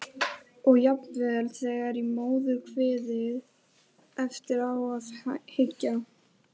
Og jafnvel þegar í móðurkviði- eftir á að hyggja.